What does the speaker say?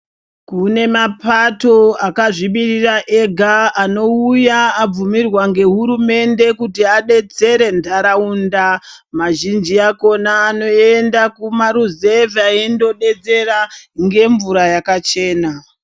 Kune mapato akazvimirira ega anouya abvumirwa ngehurumende kuti adetsere ntaraunda, mazhinji akhona anoenda kumaruzevha eindodetsera ngemvura yakachena.